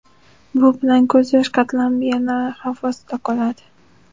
Bu bilan ko‘z yosh qatlami yana xavf ostida qoladi.